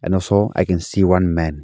And also I can see one man.